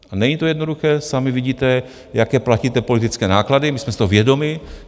A není to jednoduché, sami vidíte, jaké platíte politické náklady, my jsme si toho vědomi.